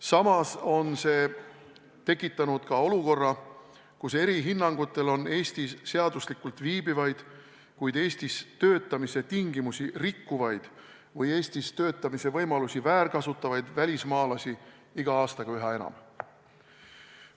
See on tekitanud olukorra, kus eri hinnangutel on Eestis seaduslikult viibivaid, kuid Eestis töötamise tingimusi rikkuvaid või töötamise võimalusi väärkasutavaid välismaalasi iga aastaga üha enam.